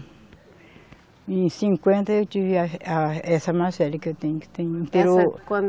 E em cinquenta eu tive a, a, essa que eu tenho, que tem o. Essa quando